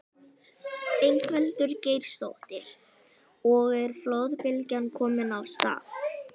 Ingveldur Geirsdóttir: Og er flóðbylgjan komin af stað?